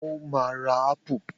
O máa ra ápù.